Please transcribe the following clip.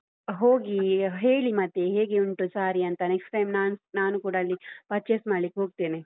ಹೋಗಿ ಹ್ ಹೇಳಿ ಮತ್ತೆ ಹೇಗೆ ಉಂಟು sarees ಅಂತ next time ನಾನ್~ ನಾನೂ ಕೂಡ ಅಲ್ಲಿ purchase ಮಾಡ್ಲಿಕ್ಕೆ ಹೋಗ್ತೇನೆ.